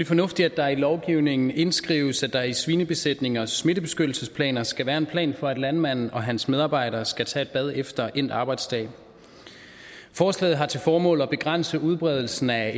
fornuftigt at der i lovgivningen indskrives at der i svinebesætningers smittebeskyttelsesplaner skal være en plan for at landmanden og hans medarbejdere skal tage et bad efter endt arbejdsdag forslaget har til formål at begrænse udbredelsen af